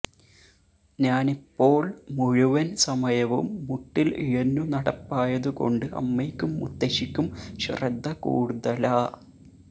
ഞാനിപ്പോള് മുഴുവൻ സമയവും മുട്ടിൽ ഇഴഞ്ഞുനടപ്പായതു കൊണ്ട് അമ്മയ്ക്കും മുത്തശ്ശിക്കും ശ്രദ്ധ കൂടുതലാ